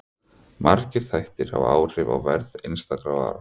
Margir þættir hafa áhrif á verð einstakra vara.